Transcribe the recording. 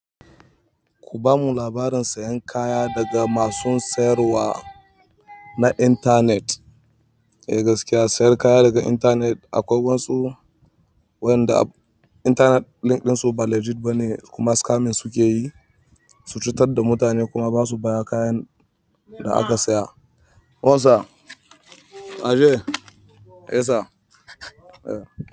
Ku bamu labarin sayan kaya daga masun siyarwa na internet. Eh gaskiya sayan kaya daga internet akwai wasu wayanda internet link ɗin su ba legit bane kuma scamming sukeyi. To cutar da mutane kuma basu ba kayan da aka saya. Hausa? Ajiye? Yasa? Eh.